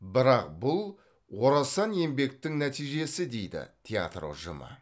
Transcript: бірақ бұл орасан еңбектің нәтижесі дейді театр ұжымы